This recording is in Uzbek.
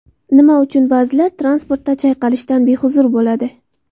Nima uchun ba’zilar transportda chayqalishdan behuzur bo‘ladi?.